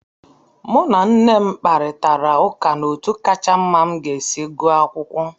Mụ na nne m kparịtara ụka n'otu kacha mma m ga-esi gụọ akwụkwọ.